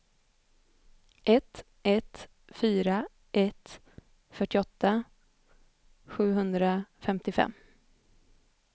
ett ett fyra ett fyrtioåtta sjuhundrafemtiofem